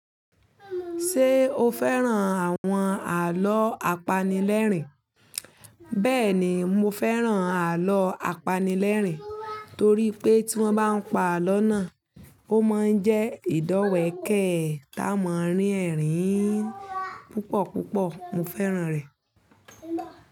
Ṣé o fẹ́ràn àwọn àlọ́ apanilẹ́rìn? Bẹ́ẹ̀ni, mo fẹ́ràn àlọ́ apanilẹ́rìn torí pé tí wọ́n bá ń pa àlọ́ náà, ó máa ń jẹ́ ìdọ́wẹ̀kẹ́ tá máa rín ẹ̀rín púpọ̀púpọ̀. Mo fẹ́ràn rẹ̀